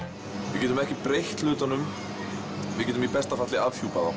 við getum ekki breytt hlutunum við getum í besta falli afhjúpað þá